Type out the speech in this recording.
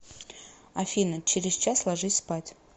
афина через час ложись спать